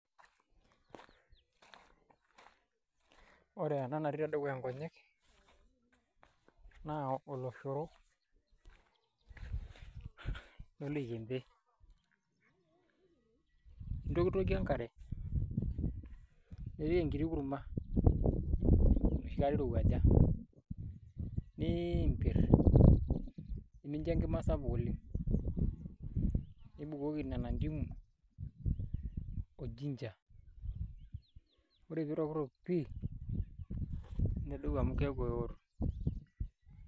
Ore ena natii tedukuya nkonyek, naa oloshoro, loloikempe. Intokitokie enkare, nipik enkiti kurma, enoshi kata irowuaja. Niimpir. Nimincho enkima sapuk oleng'. Nibukoki nena ndimu, o ginger. Ore pitokitok pii, nedou amu keeku eo.